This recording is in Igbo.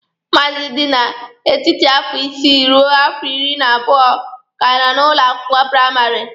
Ụmụazị dị n'etiti afọ isii ruo afọ iri na abụọ ka nọ n'ụlọ akwụkwọ praịmarị.